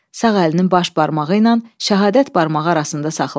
Sağ əlinin baş barmağı ilə şəhadət barmağı arasında saxladı.